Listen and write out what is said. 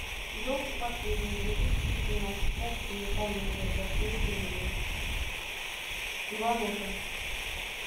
елки последние две тысячи восемнадцать россия комедия для всей семьи иван ургант